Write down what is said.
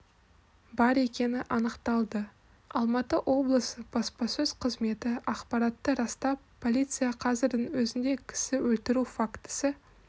бар екені анықталды алматы облысы баспасөз қызметі ақпаратты растап полиция қазірдің өзінде кісі өлтіру фактісі